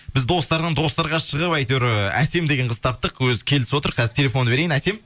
біз достарынан достарға шығып әйтеуір ы әсем деген қызды таптық өзі келісіп отыр қазір телефонды берейін әсем